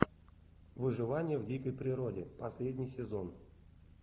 выживание в дикой природе последний сезон